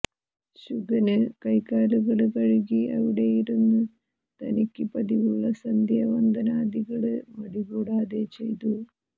ശുകന് കൈകാലുകള് കഴുകി അവിടെയിരുന്ന് തനിക്ക് പതിവുള്ള സന്ധ്യാവന്ദനാദികള് മടികൂടാതെ ചെയ്തു